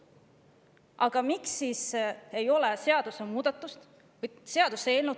Aga miks siis ei ole seadusemuudatust?